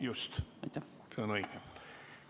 Just, see on õige.